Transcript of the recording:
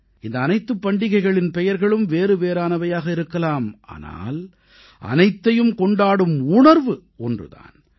இந்த அனைத்துப் பண்டிகைகளின் பெயர்களும் வேறுவேறானவையாக இருக்கலாம் ஆனால் அனைத்தையும் கொண்டாடும் உணர்வு ஒன்று தான்